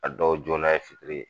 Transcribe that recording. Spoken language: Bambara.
A dɔw joona ye fitri ye